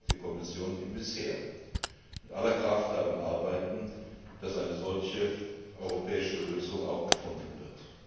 Und darum wird die Kommission wie bisher mit aller Kraft daran arbeiten, dass eine solche europäische Lösung auch gefunden